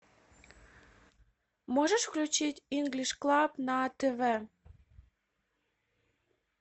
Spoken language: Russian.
можешь включить инглиш клаб на тв